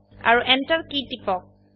আৰু enter key টিপক